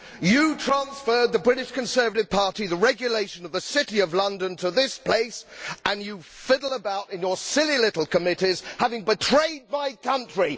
You the British Conservative Party transferred the regulation of the City of London to this place, and you fiddle about in your silly little committees having betrayed my country.